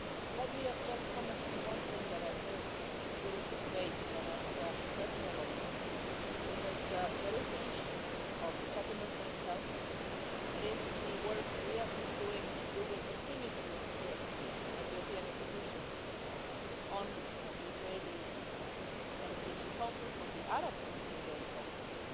Let me just comment on one thing that I've heard during the debate and that has impressed me a lot, because there is the issue of the settlements itself, there is the work we have been doing and we will continue to do, I'm sure, as European institutions on the Israeli-Palestinian conflict, on the Arab-Israeli conflict